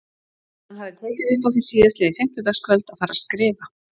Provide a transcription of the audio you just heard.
Hann hafði tekið upp á því síðastliðið fimmtudagskvöld að fara að skrifa.